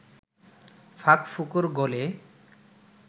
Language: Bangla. ফাঁক-ফোকর গলে